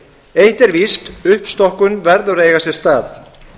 eitt er víst uppstokkun verður að eiga sér stað